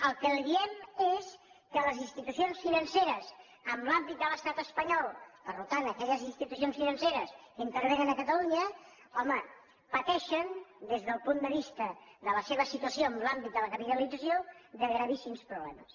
el que li diem és que les institucions financeres en l’àmbit de l’estat espanyol per tant aquelles institucions financeres que intervenen a catalunya home pateixen des del punt de vista de la seva situació en l’àmbit de la capitalització gravíssims problemes